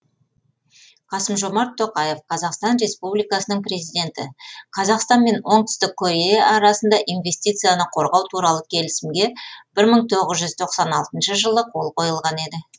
қасым жомарт тоқаев қазақстан республикасының президенті қазақстан мен оңтүстік корея арасында инвестицияны қорғау туралы келісімге бір мың тоғғыз жүз тоқсан алтыншы жылы қол қойылған еді